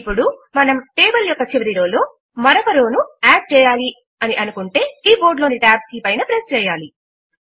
ఇప్పుడు మనము టేబుల్ యొక్క చివరి రో లో మరొక రో ను యాడ్ చేయాలి అని అనుకుంటే కీ బోర్డ్ లోని Tab కీ పైన ప్రెస్ చేయాలి